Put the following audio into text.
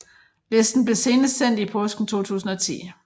Listen blev senest sendt i påsken 2010